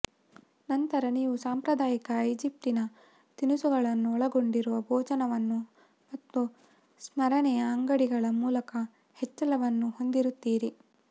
ನಂತರ ನೀವು ಸಾಂಪ್ರದಾಯಿಕ ಈಜಿಪ್ಟಿನ ತಿನಿಸುಗಳನ್ನು ಒಳಗೊಂಡಿರುವ ಭೋಜನವನ್ನು ಮತ್ತು ಸ್ಮರಣೆಯ ಅಂಗಡಿಗಳ ಮೂಲಕ ಹೆಚ್ಚಳವನ್ನು ಹೊಂದಿರುತ್ತೀರಿ